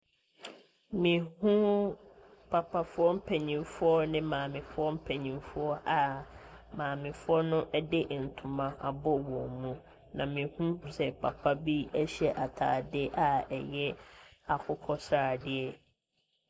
Me hu papafoɔ mpaninfoɔ ne maamefoɔ mpaninfoɔ a maamefoɔ no ɛde ntoma abɔ wɔn mu. Me hu papa bi hyɛ atade a ɛyɛ akoko sradeɛ.